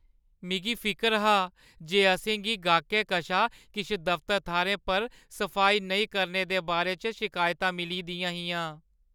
मिगी फिकर हा जे असें गी गाह्कै कशा किश दफ्तर थाह्‌रें पर सफाई नेईं करने दे बारे च शिकायतां मिली दियां हियां।